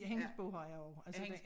Ja hendes bog har jeg også altså